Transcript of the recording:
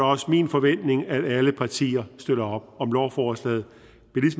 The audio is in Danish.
også min forventning at alle partier støtter op om lovforslaget